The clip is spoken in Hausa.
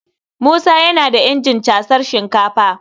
Musa yana da injin casar sinkafa.